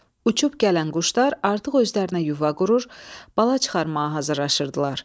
Uçub gələn quşlar artıq özlərinə yuva qurur, bala çıxarmağa hazırlaşırdılar.